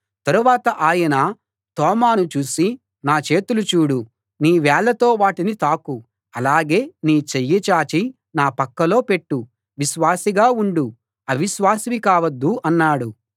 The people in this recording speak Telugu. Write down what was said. తరువాత ఆయన తోమాను చూసి నా చేతులు చూడు నీ వేళ్ళతో వాటిని తాకు అలాగే నీ చెయ్యి చాచి నా పక్కలో పెట్టు విశ్వాసిగా ఉండు అవిశ్వాసివి కావద్దు అన్నాడు